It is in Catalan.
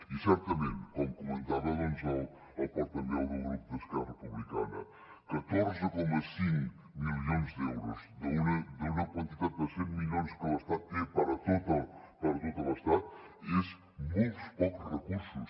i certament com comentava el portaveu del grup d’esquerra republicana catorze coma cinc milions d’euros d’una quantitat de cent milions que l’estat té per a tot l’estat són molts pocs recursos